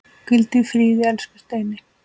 Hvíldu í friði, elsku Steini.